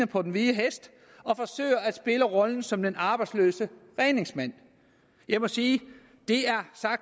på den hvide hest og forsøger at spille rollen som de arbejdsløses redningsmand jeg må sige